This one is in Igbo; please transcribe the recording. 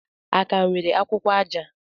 A ka nwere akwụkwọ aja?